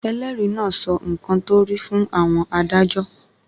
Ẹlẹ́rìí náà sọ nǹkan tó rí fún àwọn adájọ́.